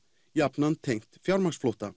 jafnan tengt fjármagnsflótta